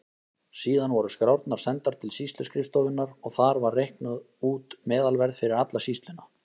Síðan voru skrárnar sendar til sýsluskrifstofunnar og þar var reiknað út meðalverð fyrir alla sýsluna.